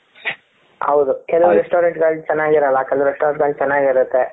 ಹೌದು ಕೆಲವ restaurant ಗಳು ಚೆನ್ನಾಗಿರಲ್ಲ ಕೆಲವು restaurant ಗಳು ಚೆನ್ನಾಗಿರುತ್ತೆ.